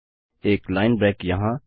एक line break यहाँ